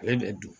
Ale bɛ dun